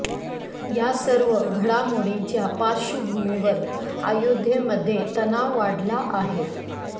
या सर्व घडामोडींच्या पार्श्वभूमीवर अयोध्येमध्ये तणाव वाढला आहे